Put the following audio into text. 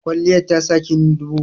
Kwalliyar tasa kinyi dubu.